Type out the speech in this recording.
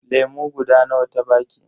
Lemu guda nawa ta baki?